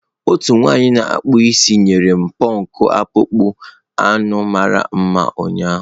Otu nwanyị na akpụ isi nyere m pọnk akpụkpọ anụ mara mma ụnyaahụ.